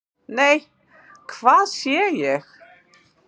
"""NEI, HVAÐ SÉ ÉG!"""